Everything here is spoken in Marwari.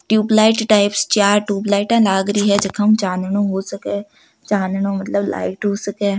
ट्यूबलाइट टाइप्स चार ट्यूबलाइटा लाग रही हैं जक ऊ चानणो हो सके चानणो मतलब लाइट हु सके।